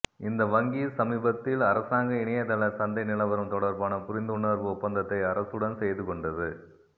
இந்த வங்கி சமீபத்தில் அரசாங்க இணையதள சந்தை நிலவரம் தொடர்பான புரிந்துணர்வு ஒப்பந்தத்தை அரசுடன் செய்து கொண்டது